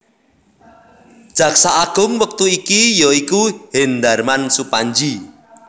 Jaksa Agung wektu iki ya iku Hendarman Supandji